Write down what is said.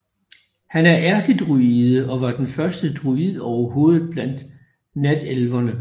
Han er ærkedruide og var den første druid overhovedet blandt natelverne